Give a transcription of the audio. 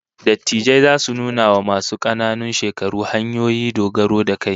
Dattijai zasu nuna wa masu kananan shekaru hanyoyi dogaro da kai